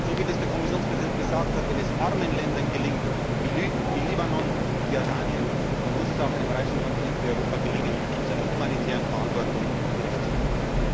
Wie der Kommissionspräsident gesagt hat Wenn es armen Ländern gelingt, wie Libanon und Jordanien, dann muss es auch einem reichen Kontinent wie Europa gelingen, seiner humanitären Verantwortung gerecht